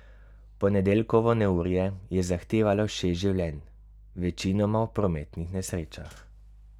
Ponedeljkovo neurje je zahtevalo šest življenj, večinoma v prometnih nesrečah.